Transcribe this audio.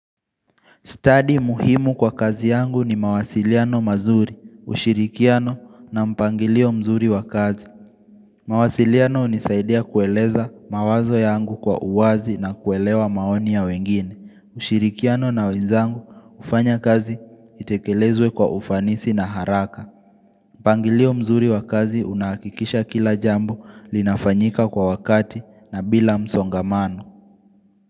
Stadi muhimu kwa kazi yangu ni mawasiliano mazuri, ushirikiano na mpangilio mzuri wa kazi. Mawasiliano hunisaidia kueleza mawazo yangu kwa uwazi na kuelewa maoni ya wengine. Ushirikiano na wenzangu hufanya kazi itekelezwe kwa ufanisi na haraka. Mpangilio mzuri wa kazi unahakikisha kila jambo linafanyika kwa wakati na bila msongamano.